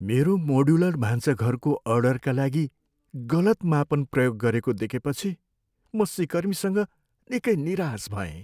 मेरो मोड्युलर भान्साघरको अर्डरका लागि गलत मापन प्रयोग गरेको देखेपछि म सिकर्मीसँग निकै निराश भएँ।